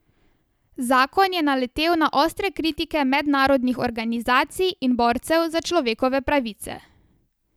Zakon je naletel na ostre kritike mednarodnih organizacij in borcev za človekove pravice.